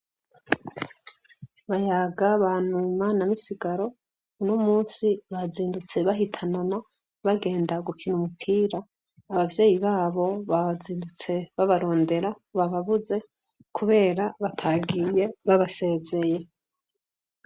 Bayaga, Banuma na Misigaro, uno munsi bazindutse bahitanana, bagenda gukina umupira. Abavyeyi babo bazindutse babarondera bababuze kubera batagiye babasezeye.